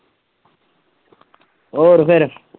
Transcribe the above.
ਹੋਰ ਫੇਰ